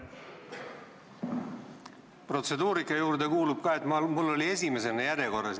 Protseduuri juurde kuulub ka see, et mina olin esimesena järjekorras.